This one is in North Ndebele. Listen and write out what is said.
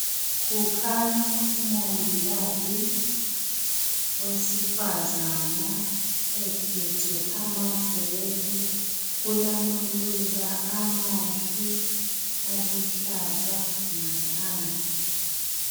Kukhanya umongikazi wesifazana ephethe amabhuku kulamaluba amahle aluhlaza ngaphandle.